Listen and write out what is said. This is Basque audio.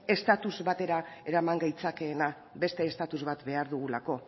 estatus batera eraman gaitzakeena beste estatus bat behar dugulako